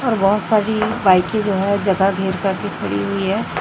और बहुत सारी बाइके जो हैं जगह घेर कर के खड़ी हुई है।